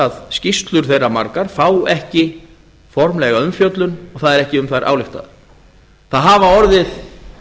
að skýrslur þeirra margar fá ekki formlega umfjöllun og það er ekki um þær ályktað það hafa orðið